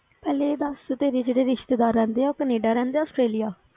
ਪਹਿਲੇ ਇਹ ਦੱਸ ਤੇਰੇ ਜਿਹੜੇ ਰਿਸ਼ਤੇਦਾਰ ਰਹਿੰਦੇ ਆ, ਉਹ ਕਨੇਡਾ ਰਹਿੰਦੇ ਆ ਆਸਟ੍ਰੇਲੀਆ?